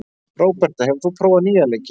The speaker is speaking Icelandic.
Róberta, hefur þú prófað nýja leikinn?